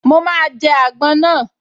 Mo máa jẹ àgbọn náà